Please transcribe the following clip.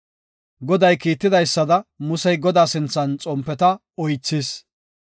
Goday kiitidaysada, Musey, Godaa sinthan xompeta oythis.